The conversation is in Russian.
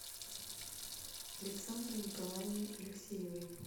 александрой николаевной алексеевой